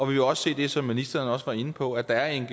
vil også se det som ministeren også var inde på at der er